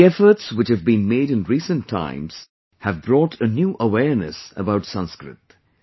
the efforts which have been made in recent times have brought a new awareness about Sanskrit